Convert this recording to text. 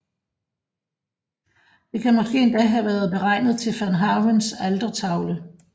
Det kan måske endda have været beregnet til van Havens altertavle